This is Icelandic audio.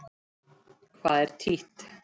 Hvað er títt?